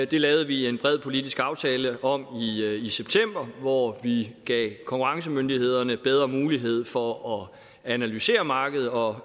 det lavede vi en bred politisk aftale om i september hvor vi gav konkurrencemyndighederne bedre mulighed for at analysere markedet og